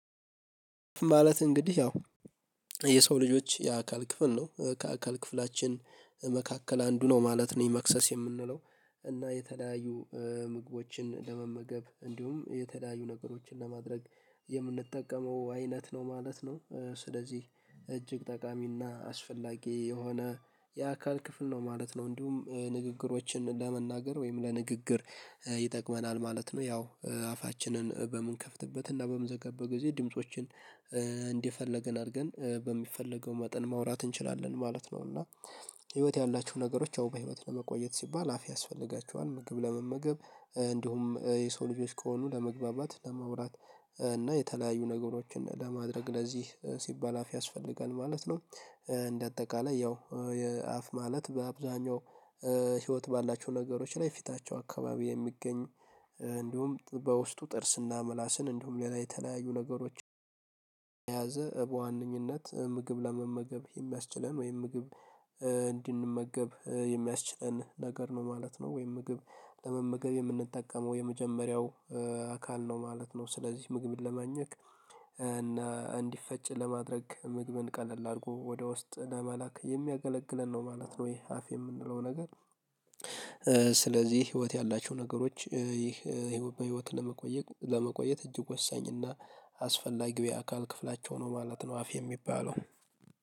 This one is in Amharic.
ማለት እንግዲህ ያው የሰው ልጆች የአካል ክፍል ነው ከአካል ክፍላችን መካከል አንዱ ነው ማለት ነው የመክሰስ የምንለው። እና የተለያዩ ምግቦችን ለመመገብ እንዲሁም የተለያዩ ነገሮችን ለማድረግ የምንጠቀመው አይነት ነው ማለት ነው። ስለዚህ እጅግ ጠቃሚና አስፈላጊ የሆነ የአካል ክፍል ነው ማለት ነው። እንዲሁም ንግግሮችን ለመናገር ወይም ለንግግር ይጠቅመናል ማለት ነው። ያው አፋችንን በምንከፍትበት እና በምዘገበት ጊዜ ድምፆችን እንዲፈለገን አድርገን በሚፈለገው መጠን ማውራት እንችላለን ማለት ነው። እና ህይወት ያላችሁ ነገሮች አው ህይወት ለመቆየት ሲባል አፍ ያስፈልጋችኋል ምግብ ለመመገብ እንዲሁም የሰው ልጆች ከሆኑ ለመግባባት ለመውራት እና የተለያዩ ነገሮችን ለማድረግ ለዚህ ሲባል አፍ ያስፈልጋል ማለት ነው። እንደ አጠቃላይ ያው የአፍ ማለት በአብዛኛው ህይወት ባላቸው ነገሮች ላይ ፊታቸው አካባቢ የሚገኝ እንዲሁም በውስጡ ጥርስና ምላስን እንዲሁም ሌላ የተለያዩ ነገሮችን። በዋነኝነት ምግብ ለመመገብ የሚያስችለን ወይም ምግብ እንድንመገብ የሚያስችለን ነገር ነው ማለት ነው። ወይም ምግብ ለመመገብ የምንጠቀመው የመጀመሪያው አካል ነው ማለት ነው። ስለዚህ ምግብን ለማኘክ እና እንዲፈጭ ለማድረግ ምግብን ቀለል አድርጎ ወደ ውስጥ ለመላክ የሚያገለግለን ነው ማለት ነው። ይሄ አፍ የምንለው ነገር። ስለዚህ ህይወት ያላችሁ ነገሮች ይህ ህይወት ለመቆየት እጅግ ወሳኝ እና አስፈላጊ የአካል ክፍላቸው ነው ማለት ነው። አፍ የሚባለው